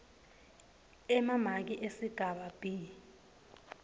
emamaki esigaba b